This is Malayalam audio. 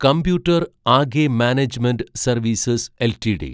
computer Age Management Services LTD